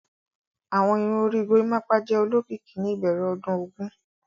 Awọn irun ori Gorimapa jẹ olokiki ni ibẹrẹ ọdun ogun.